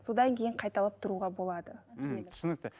содан кейін қайталап тұруға болады м түсінікті